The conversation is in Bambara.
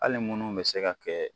Hali munnu bɛ se ka kɛ